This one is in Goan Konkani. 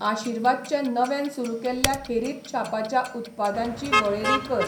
आशीर्वाद च्या नव्यान सुरू केल्ल्या खेरीत छापाच्या उत्पादांची वळेरी कर.